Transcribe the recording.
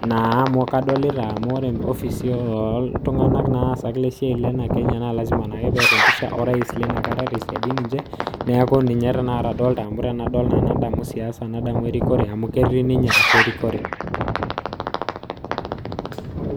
naa amu kadolita amu ore ofisi oltung'ani naa asak lesiai lena Kenya na lasima peeta empisha orais linakata tesiadi ninche, neeku ninche tanakata adolta amu tenadol nadamu siasa, nadamu erikore, amu ketii ninye atua erikore.